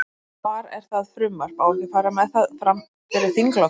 Hvar er það frumvarp, á ekki að fara með það, fram fyrir þinglok?